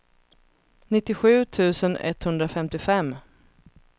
nittiosju tusen etthundrafemtiofem